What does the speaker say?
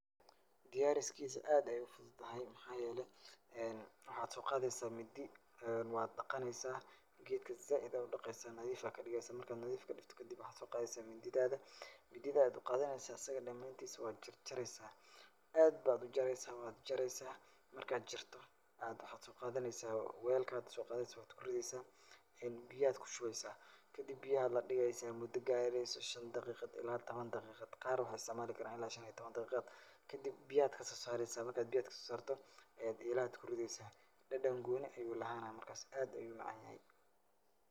Diyaariskiisa aad ayaa u fududahay. Maxaa yeelay, waxaad soo qaadaysaa mindi, waad dhaqanaysaa. Geedka zaaid ayaad u dhiqaysaa nadiif ayaa ka dhigaysaa. Marka aad nadiif jadhigtid kadib waxaad soo qaadaysaa mindidaada. Mindidaada ayaad u qaadanaysaa asig dhamaantiisa waad jarjaraysaa. Aad baad u jaraysaa wad jaraysaa. Marka aad jarto aad waxaa soo qadanaysaa weelka aad soo qadanaysaa wad ku ridaysaa. Biyo ayaa kushubaysaa. Kadib biyaha la dhigaysaa mudo gaarayso shan daqiiqad ilaa tobon daqiigad. Qaar waxaa istacmaali karaan ilaa shan iyo tobon daqiiqad. Kadib biyaha ayaad ka soo saraysaa marka aad biyaha aad ka soo saarto ee eelaha ayyad ku ridaysaa. Dhadhan gooni ayuu lahaana markaas aad ayuu u macaanaani.